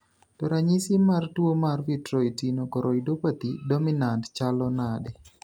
To ranyisi mar tuo mar Vitreoretinochoroidopathy dominant chalo nade?